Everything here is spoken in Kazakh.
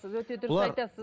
өте дұрыс айтасыз